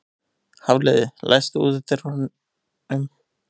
Hafliði, læstu útidyrunum.